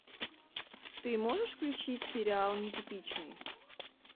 ты можешь включить сериал нетипичный